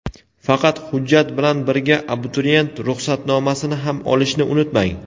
Faqat hujjat bilan birga abituriyent ruxsatnomasini ham olishni unutmang.